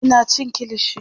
Ina cin kilishi